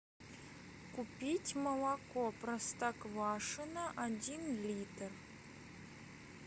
купить молоко простоквашино один литр